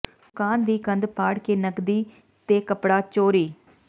ਦੁਕਾਨ ਦੀ ਕੰਧ ਪਾੜ ਕੇ ਨਕਦੀ ਤੇ ਕੱਪੜਾ ਚੋਰੀ